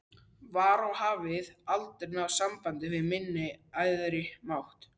var og hafði aldrei náð sambandi við minn æðri mátt.